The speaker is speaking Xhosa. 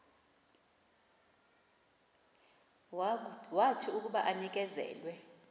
wathi akuba enikezelwe